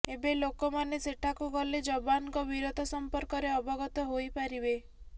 ଏବେ ଲୋକମାନେ ସେଠାକୁ ଗଲେ ଯବାନଙ୍କ ବୀରତା ସମ୍ପର୍କରେ ଅବଗତ ହୋଇପାରିବେ